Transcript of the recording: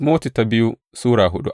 biyu Timoti Sura hudu